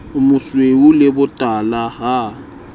o mosweu le botala ha